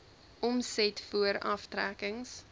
omset voor aftrekkings